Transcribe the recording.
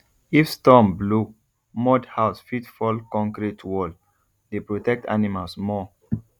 if storm blow mud house fit fall concrete wall dey protect animals more